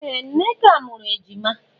Ee! Nneka mụrụ ejima.